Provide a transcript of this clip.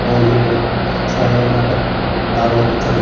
और ये बहुत अच्छा है और यहां पर तारों का गुच्छा दी--